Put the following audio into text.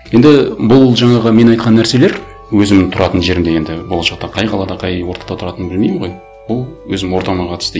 енді бұл жаңағы мен айтқан нәрселер өзім тұратын жерімде енді болашақта қай қалада қай ортада тұратыным білмеймін ғой ол өзім ортама қатысты